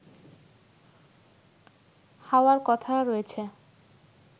হওয়ার কথা রয়েছে